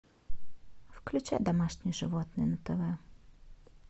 включай домашние животные на тв